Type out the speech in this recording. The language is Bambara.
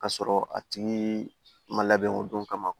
Ka sɔrɔ a tigi ma labɛn o don kama